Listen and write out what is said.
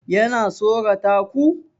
Yana tsorata ku?